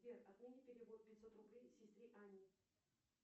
сбер отмени перевод пятьсот рублей сестре анне